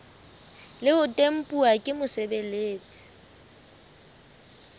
le ho tempuwa ke mosebeletsi